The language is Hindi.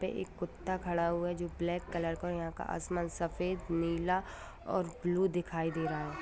एक कुत्ता खड़ा हुआ है जो ब्लैक कलर का हैं यहां का आसमान सफेद नीला और ब्लू दिखाई दे रहा हैं।